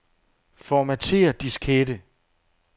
Formatér diskette.